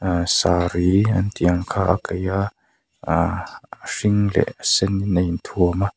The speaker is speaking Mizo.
aaa saree antih ang kha a kaiha aaa a hring leh a senin a inthuam a.